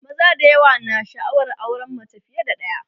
maza da yawa na sha'awar auran mace fiye da ɗaya